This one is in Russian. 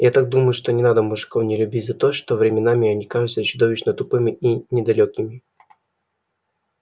я так думаю что не надо мужиков не любить за то что временами они кажутся чудовищно тупыми и недалёкими